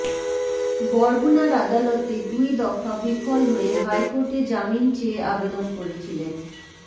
বরগুনার আদালতে দুই দফা বিফল হয়ে হাইকোর্টে জামিন চেয়ে আবেদন করেছিলেন